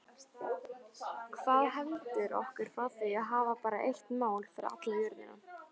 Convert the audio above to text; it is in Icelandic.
Hvað heldur okkur frá því að hafa bara eitt mál fyrir alla jörðina?